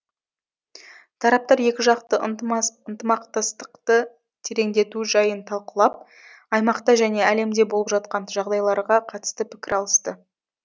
тараптар екіжақты ынтымақтастықты тереңдету жайын талқылап аймақта және әлемде болып жатқан жағдайларға қатысты пікір алысты